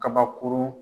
Kabakurun